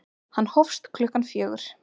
Hann hófst klukkan fjögur.